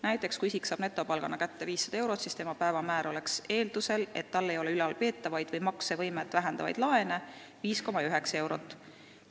Näiteks, kui isik saab netopalgana kätte 500 eurot, siis tema päevamäär oleks –eeldusel, et tal ei ole ülalpeetavaid või maksevõimet vähendavaid laene – 5,9 eurot.